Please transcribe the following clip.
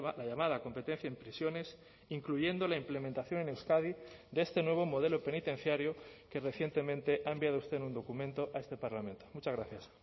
la llamada competencia en prisiones incluyendo la implementación en euskadi de este nuevo modelo penitenciario que recientemente ha enviado usted en un documento a este parlamento muchas gracias